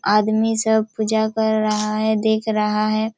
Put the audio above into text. आदमी सब पूजा कर रहा है देख रहा है।